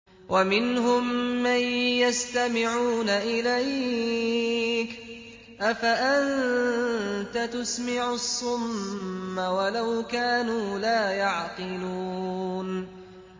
وَمِنْهُم مَّن يَسْتَمِعُونَ إِلَيْكَ ۚ أَفَأَنتَ تُسْمِعُ الصُّمَّ وَلَوْ كَانُوا لَا يَعْقِلُونَ